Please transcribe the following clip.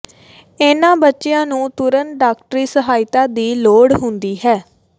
ਇਨ੍ਹਾਂ ਬੱਚਿਆਂ ਨੂੰ ਤੁਰੰਤ ਡਾਕਟਰੀ ਸਹਾਇਤਾ ਦੀ ਲੋੜ ਹੁੰਦੀ ਹੈ